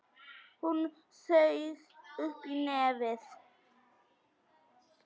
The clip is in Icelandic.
Hún saug upp í nefið.